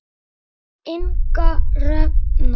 Inga Hrefna.